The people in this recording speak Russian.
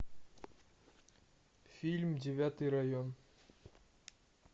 фильм девятый район